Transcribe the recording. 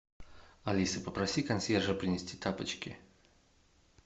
алиса попроси консьержа принести тапочки